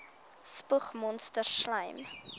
spoeg monsters slym